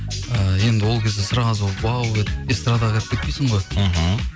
і енді ол кезде сразу уау деп эстрадаға кіріп кетпейсің ғой мхм